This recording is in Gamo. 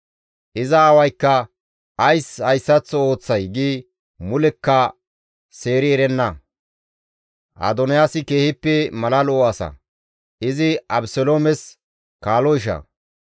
Iza aawaykka, «Ays hayssaththo ooththay?» gi mulekka seeri erenna. Adoniyaasi keehippe mala lo7o asa; izi Abeseloomes kaalo isha.